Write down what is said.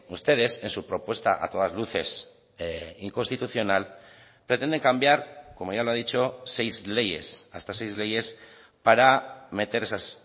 ustedes en su propuesta a todas luces inconstitucional pretenden cambiar como ya lo ha dicho seis leyes hasta seis leyes para meter esas